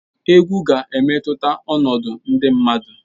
Egwu ga-emetụta ọnọdụ ndị mmadụ.